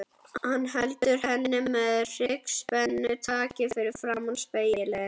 Hann heldur henni með hryggspennutaki fyrir framan spegilinn.